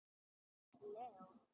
Hann Leó?